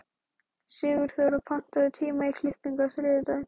Sigurþóra, pantaðu tíma í klippingu á þriðjudaginn.